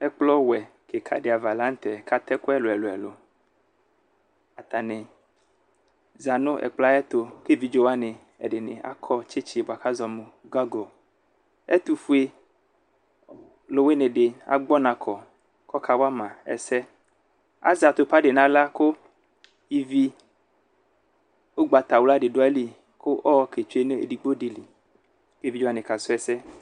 Ɛkplɔwɛ kikadi ava lanʋtɛ kʋ atɛ ɛkʋ ɛlʋ ɛlʋ ɛlʋ atani zanʋ ɛkplɔyɛ ayʋ ɛtʋ kʋ evidze wani akɔ tsitsi bʋakʋ azɔnʋ gago ɛtʋfue lʋwini di agbɔ ɔnakɔ kʋ ɔka wama ɛsɛ azɛ atupa d nʋ aɣla kʋ ivi ʋgbatawla di dʋ ayili kʋ ɔketsue nʋ edigbo dili kʋ evidze wani kasʋ ɛsɛ